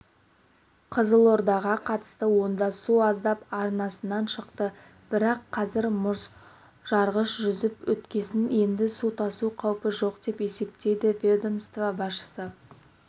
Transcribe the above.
қызылордаға қатысты онда су аздап арнасынан шықты бірақ қазір мұзжарғыш жүріп өткесін енді су тасу қаупі жоқ деп есептейді ведомство басшысы